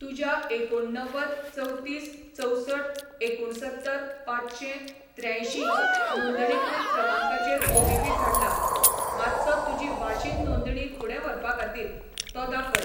तुज्या एकुणव्वद चवतीस चवसठ एकुणसत्तर पांचशें त्र्यांयशीं नोंदणीकृत क्रमांकाचेर ओटीपी धाडला, मातसो तुजी वाशीन नोंदणी फुडें व्हरपा खातीर तो दाखय.